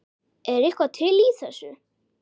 Er eitthvað til í þessu?